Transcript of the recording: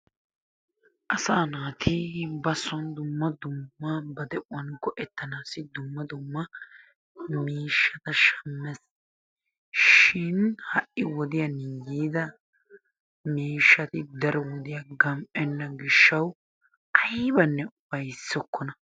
Asa naati ba son dumma dumma ba de'uwan go'ettnaassi dumma dumma miishshata shammees, shin ha'i wodiyaan yiida miishshati daro wodiya gam''enna gishshaw aybbanne ufayssokkona.